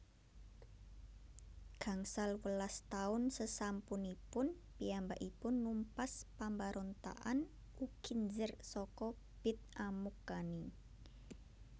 Gangsal welas taun sesampunipun piyambakipun numpas pambarontakan Ukinzer saka Bit Amukkani